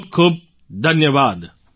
ખૂબખૂબ ધન્યવાદ